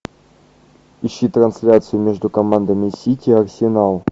ищи трансляцию между командами сити арсенал